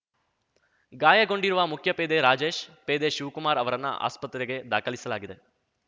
ಗಾಯಗೊಂಡಿರುವ ಮುಖ್ಯಪೇದೆ ರಾಜೇಶ್ ಪೇದೆ ಶಿವಕುಮಾರ್ ಅವರನ್ನ ಆಸ್ಪತ್ರೆಗೆ ದಾಖಲಿಸಲಾಗಿದೆ